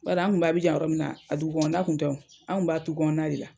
Baari an kun bɛ Abijan yɔrɔ min na a dugukɔnɔna kun tɛ o, an kun b'a tu kɔnɔna de la.